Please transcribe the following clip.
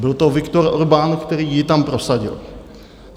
Byl to Viktor Orbán, který ji tam prosadil.